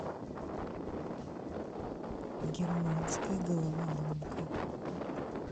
германская головоломка